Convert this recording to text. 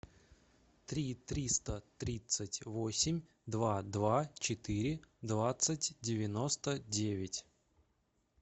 три триста тридцать восемь два два четыре двадцать девяносто девять